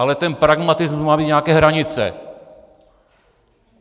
Ale ten pragmatismus má mít nějaké hranice.